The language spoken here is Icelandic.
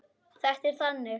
Þetta er þannig.